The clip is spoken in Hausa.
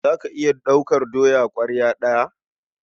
Za ka iya ɗaukar doya ƙwarya ɗaya?